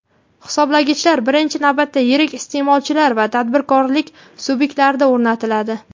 hisoblagichlar birinchi navbatda yirik iste’molchilar va tadbirkorlik sub’ektlarida o‘rnatiladi;.